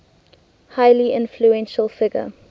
highly influential figure